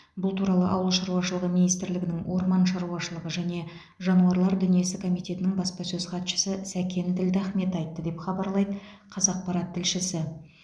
бұл туралы ауыл шаруашылығы министрлігінің орман шаруашылығы және жануарлар дүниесі комитетінің баспасөз хатшысы сәкен ділдахмет айтты деп хабарлайды қазақпарат тілшісі